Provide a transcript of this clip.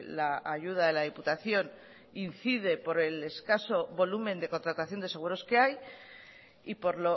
la ayuda de la diputación incide por el escaso volumen de contratación de seguros que hay y por